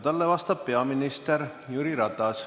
Talle vastab peaminister Jüri Ratas.